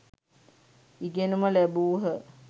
ඉගෙනුම ලැබූහ